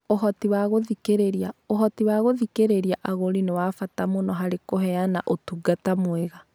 Ũhoti wa gũthikĩrĩria: Ũhoti wa gũthikĩrĩria agũri nĩ wa bata mũno harĩ kũheana ũtungata mwega.